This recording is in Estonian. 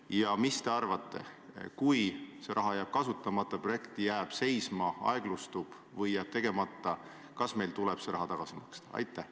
Ja mis te arvate: kui see raha jääb kasutamata, projekt jääb seisma, aeglustub või jääb ellu viimata, kas meil tuleb see raha tagasi maksta?